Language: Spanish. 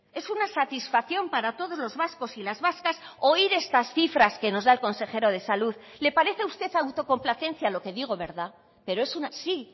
es una satisfacción para todos los vascos y las vascas oír estas cifras que nos da el consejero de salud le parece a usted autocomplacencia lo que digo verdad pero es una sí